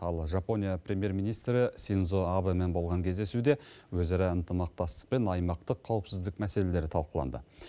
ал жапония премьер министрі синдзо абэмен болған кездесуде өзара ынтымақтастық пен аймақтық қауіпсіздік мәселелері талқыланды